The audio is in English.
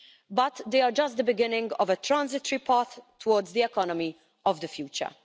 but they are just the beginning of a transitory path towards the economy of the future.